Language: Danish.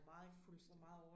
Fuldstændig